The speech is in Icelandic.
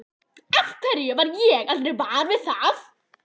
Af hverju varð ég aldrei var við það?